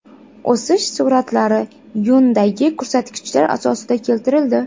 O‘sish sur’atlari yuandagi ko‘rsatkichlar asosida keltirildi.